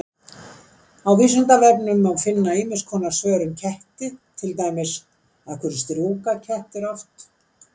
Á Vísindavefnum má finna ýmis svör um ketti, til dæmis: Af hverju strjúka kettir oft?